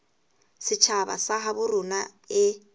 setjhaba sa habo rona e